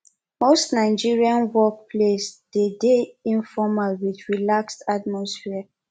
most nigerian work place dey de informal with relaxed atmosphere